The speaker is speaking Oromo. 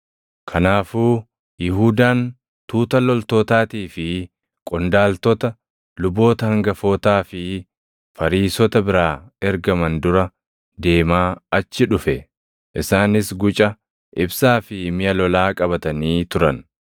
Kanaafuu Yihuudaan tuuta loltootaatii fi qondaaltota luboota hangafootaa fi Fariisota biraa ergaman dura deemaa achi dhufe. Isaanis guca, ibsaa fi miʼa lolaa qabatanii turan.